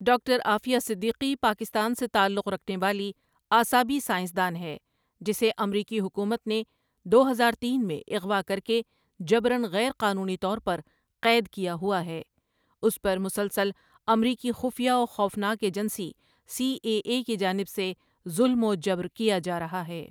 Doctor Aafia Siddiqui Pakistan سے تعلق رکھنے والی اعصابی سائنس دان ہے جسے امریکی حکومت نے دو ہزار تین میں اغوا کر کے جبراًغیر قانونی طور پر قید کیا ہوا ہے اس پر مسلسل امریکی خفیہ و خوفناک ایجنسی سی ایے اے کی جانب سے ظلم و جبر کیا جا رہا ہے۔